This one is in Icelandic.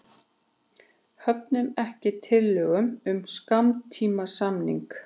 Höfnuðu ekki tillögu um skammtímasamning